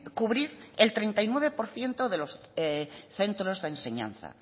cubrir el treinta y nueve por ciento de los centros de enseñanza